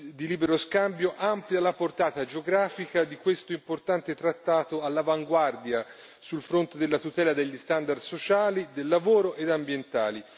di libero scambio, amplia la portata geografica di questo importante trattato all'avanguardia sul fronte della tutela degli standard sociali del lavoro ed ambientali.